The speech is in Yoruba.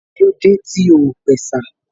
Kílódé tí o ò pẹ̀sà?